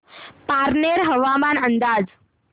पारनेर हवामान अंदाज